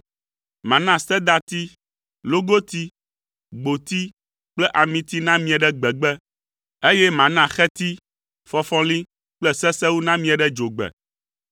Mana sedati, logoti, gboti kple amiti namie ɖe gbegbe, eye mana xeti, fɔfɔli, kple sesewu namie ɖe dzogbe.